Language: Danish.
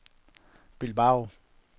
Bilbao